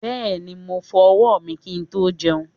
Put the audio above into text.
Bẹ́ẹ̀ni., mo fọ ọwọ́ mi kí n tó jẹun.